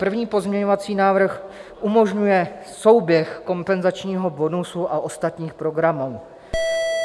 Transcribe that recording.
První pozměňovací návrh umožňuje souběh kompenzačního bonusu a ostatních programů.